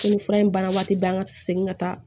Ko fura in baara waati bɛɛ an ka segin ka taa